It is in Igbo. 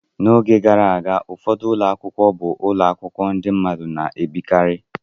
N'oge gara aga, ụfọdụ ụlọ akwụkwọ bụ ụlọ akwụkwọ ndị mmadụ na-ebikarị.